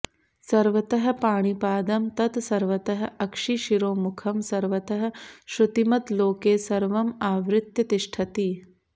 सर्वतः पाणिपादं तत् सर्वतः अक्षिशिरोमुखम् सर्वतः श्रुतिमत् लोके सर्वम् आवृत्य तिष्ठति